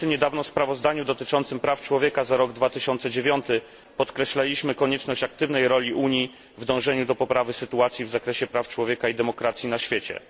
W przyjętym niedawno sprawozdaniu dotyczącym praw człowieka za rok 2009 podkreślaliśmy konieczność aktywnej roli Unii w dążeniu do poprawy sytuacji w zakresie praw człowieka i demokracji na świecie.